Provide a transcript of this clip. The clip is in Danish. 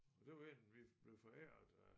Det var en vi blev foræret af